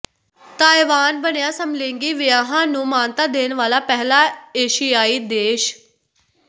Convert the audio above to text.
Taiwan ਬਣਿਆ ਸਮਲਿੰਗੀ ਵਿਆਹਾਂ ਨੂੰ ਮਾਨਤਾ ਦੇਣ ਵਾਲਾ ਪਹਿਲਾ ਏਸ਼ੀਆਈ ਦੇਸ਼